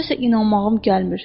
Nəsə inanmağım gəlmir.